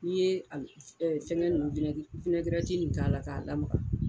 N'i ye fɛngɛ nin k'a la k'a lamaga